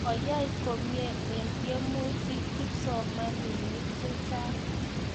Kayai komnye eng' tyemutik kipsomaninik chechang'